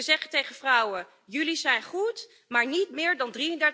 We zeggen tegen vrouwen jullie zijn goed, maar niet meer dan